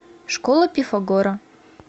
школа пифагора